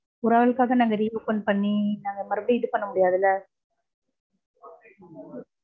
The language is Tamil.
ஒரு ஆளுக்காக நாங்க re-open பண்ணி, நாங்க மறுபடியும் இதுபண்ண முடியாதுல